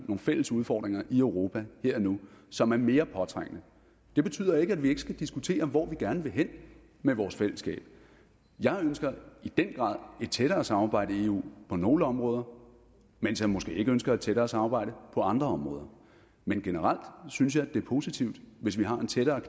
fælles udfordringer i europa her og nu som er mere påtrængende det betyder ikke at vi ikke skal diskutere hvor vi gerne vil hen med vores fællesskab jeg ønsker i den grad et tættere samarbejde i eu på nogle områder mens jeg måske ikke ønsker et tættere samarbejde på andre områder men generelt synes jeg det er positivt hvis vi har en tættere